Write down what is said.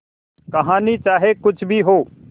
कहानी चाहे कुछ भी हो